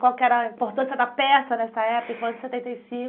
Qual que era a importância da peça nessa época, em foi em setenta em cinco?